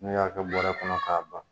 Ne y'a kɛ bɔrɛ kɔnɔ k'a ban.